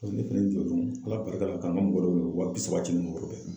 Ne fɛnɛ jo don ala barika la ka n ka mɔgɔ ye wa bi saba di n ma o yɔrɔ bɛɛ